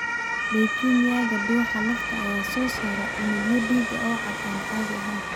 Leukemia-ga, dhuuxa lafta ayaa soo saara unugyo dhiig oo cad oo aan caadi ahayn.